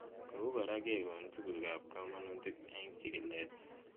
Kou kora kekon tuguk ab kamanut eng' chig'ilet